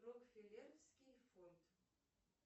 рокфеллеровский фонд